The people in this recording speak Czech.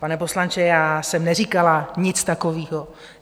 Pane poslanče, já jsem neříkala nic takového.